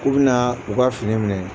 U bɛna u ka fini minɛ